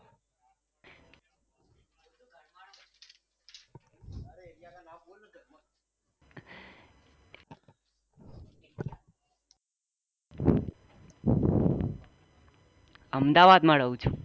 અમદાવાદ માં રહું છું.